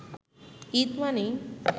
ঈদ মানেই